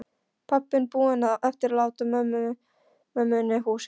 Pabbinn búinn að eftirláta mömmunni húsið.